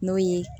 N'o ye